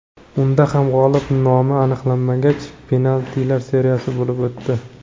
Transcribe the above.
Unda ham g‘olib nomi aniqlanmagach, penaltilar seriyasi bo‘lib o‘tdi.